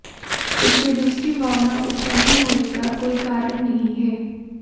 इससे दूसरी भावना उत्पन्न होने का कोई कारण नहीं है